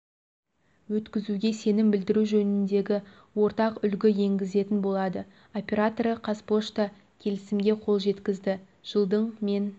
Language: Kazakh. өткізуге сенім білдіру жөніндегі ортақ үлгі енгізетін болады операторы қазпошта келісімге қол жеткізді жылдың мен